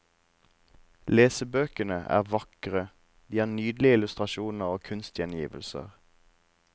Lesebøkene er vakre, de har nydelige illustrasjoner og kunstgjengivelser.